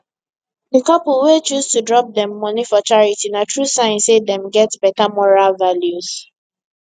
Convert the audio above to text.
di couple wey choose to drop dem moni for charity na true sign say dem get beta moral values